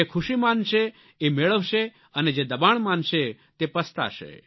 જે ખુશી માનશે એ મેળવશે અને જે દબાણ માનશે તે પસતાશે